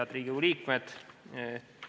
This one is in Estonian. Head Riigikogu liikmed!